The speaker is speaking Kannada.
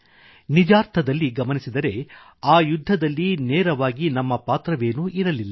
ನಿಜಾರ್ಥದಲ್ಲಿ ಗಮನಿಸಿದರೆ ಆ ಯುದ್ಧದಲ್ಲಿ ನೇರವಾಗಿ ನಮ್ಮ ಪಾತ್ರವೇನೂ ಇರಲಿಲ್ಲ